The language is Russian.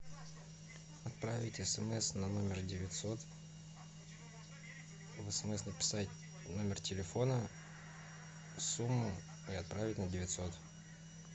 отправить смс на номер девятьсот в смс написать номер телефона сумму и отправить на девятьсот